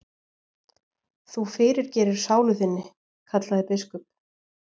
Þú fyrirgerir sálu þinni, kallaði biskup.